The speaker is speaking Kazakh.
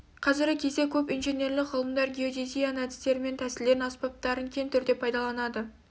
қазіргі кезде көп инженерлік ғылымдар геодезияның әдістерімен тәсілдерін аспаптарын кең түрде пайдаланады